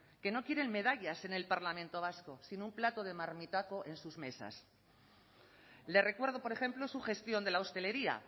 que no quieren medallas en el parlamento vasco sino un plato de marmitako en sus mesas le recuerdo por ejemplo su gestión de la hostelería